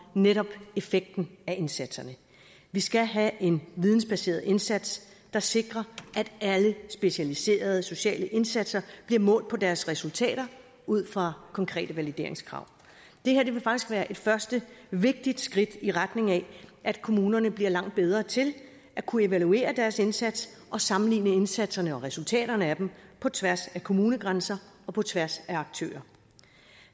netop effekten af indsatserne vi skal have en vidensbaseret indsats der sikrer at alle specialiserede sociale indsatser bliver målt på deres resultater ud fra konkrete valideringskrav det her vil faktisk være et første vigtigt skridt i retning af at kommunerne bliver langt bedre til at kunne evaluere deres indsats og sammenligne indsatserne og resultaterne af dem på tværs af kommunegrænser og på tværs af aktører